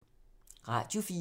Radio 4